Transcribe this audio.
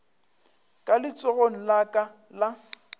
ka letsogong la ka la